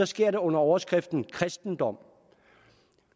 sker det under overskriften kristendom